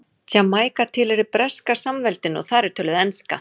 Jamaíka tilheyrir Breska samveldinu og þar er töluð enska.